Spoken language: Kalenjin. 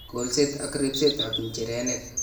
kolset ak ribsetab nchirenik